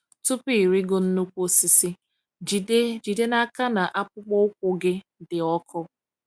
Tupu ịrịgo nnukwu osisi, jide jide n'aka na akpụkpọ ụkwụ gị dị ọkụ.